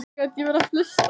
Hann má fá hann